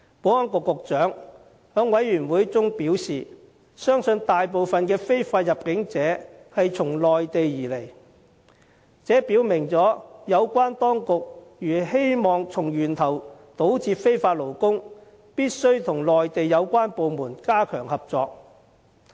保安局局長在事務委員會會議上表示，相信大部分非法入境者從內地而來，這表明有關當局如希望從源頭堵截非法勞工，就必須與內地有關部門加強合作。